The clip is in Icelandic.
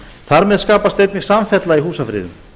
þar með skapast einnig samfella í húsafriðun